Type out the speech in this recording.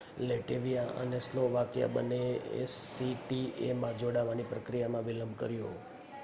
Latvia અને Slovakia બંનેએ એસીટીએમાં જોડાવાની પ્રક્રિયામાં વિલંબ કર્યો